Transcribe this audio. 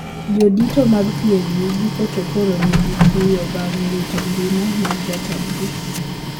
Jodito mag PNU giko to koro ni gi kuyo bang` wito ngima mar jatendgi